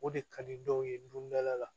O de ka di dɔw ye donda la